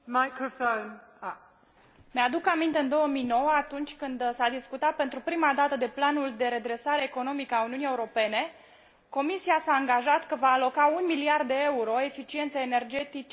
Îmi aduc aminte că în 2009, atunci când s a discutat pentru prima dată despre planul de redresare economică a Uniunii Europene, Comisia s a angajat că va aloca un miliard de euro eficienței energetice în domeniul locuințelor.